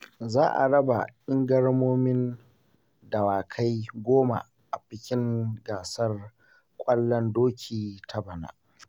Za a raba ingarmomin dawakai goma a bikin gasar ƙwallon doki ta bana.